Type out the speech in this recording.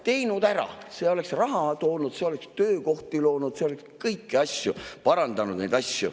Teinud ära, see oleks raha toonud, see oleks töökohti loonud, kõiki asju parandanud.